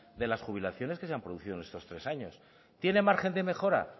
de las jubilaciones que se han producido en estos tres años tiene margen de mejora